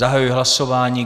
Zahajuji hlasování.